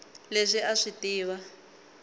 leswi a a swi tiva